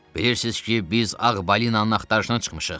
Bilirsiz ki, biz Ağ Balinanın axtarışına çıxmışıq.